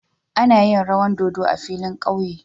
Ana yin rawan dodo a filin ƙauye.